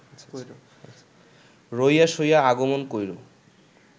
রইয়া-সইয়া আগমন কইর’